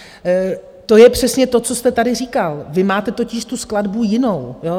To je přesně to, co jste tady říkal, vy máte totiž tu skladbu jinou.